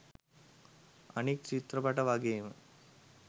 අනික් චිත්‍රපට වගේම